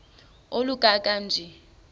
oluka ka njl